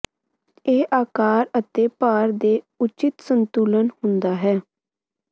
ਇਹ ਆਕਾਰ ਅਤੇ ਭਾਰ ਦੇ ਉਚਿਤ ਸੰਤੁਲਨ ਹੁੰਦਾ ਹੈ